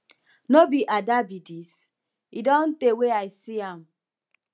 no be ada be dis e don tey wey i see am